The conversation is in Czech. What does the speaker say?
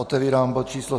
Otevírám bod číslo